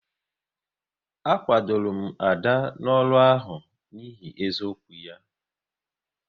A kwadoro m Ada n'ọrụ ahụ n'ihi eziokwu ya